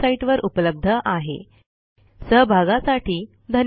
ह्या ट्युटोरियलचे भाषांतर मनाली रानडे यांनी केले असून मी रंजना भांबळे आपला निरोप घेते